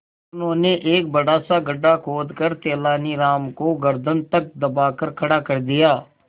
उन्होंने एक बड़ा सा गड्ढा खोदकर तेलानी राम को गर्दन तक दबाकर खड़ा कर दिया